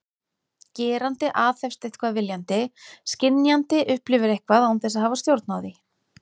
Gerandi aðhefst eitthvað viljandi, skynjandi upplifir eitthvað án þess að hafa stjórn á því.